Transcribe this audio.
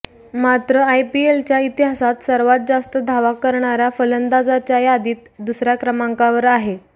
मात्र आयपीएलच्या इतिहासात सर्वात जास्त धावा करणाऱ्या फलंदाजांच्या यादीत दुसऱ्या क्रमांकावर आहे